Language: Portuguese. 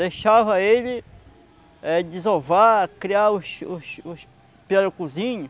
Deixava ele desovar, eh criar os os os pirarucuzinhos.